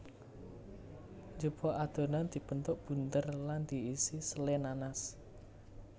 Jupuk adonan dibentuk bunder lan diisi sele nanas